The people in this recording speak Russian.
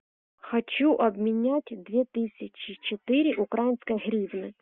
хочу обменять две тысячи четыре украинской гривны